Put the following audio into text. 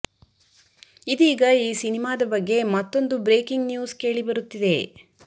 ಇದೀಗ ಈ ಸಿನಿಮಾದ ಬಗ್ಗೆ ಮತ್ತೊಂದು ಬ್ರೇಕಿಂಗ್ ನ್ಯೂಸ್ ಕೇಳಿ ಬರುತ್ತಿದೆ